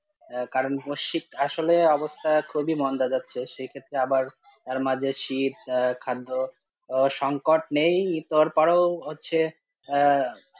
কারণ, মশিত আসলে অবস্থা খুবই মন্দা যাচ্ছে সেক্ষেত্রে আবার তার মাঝে শীত, খাদ্য সংকট নেই তারপর ও হচ্ছে আহ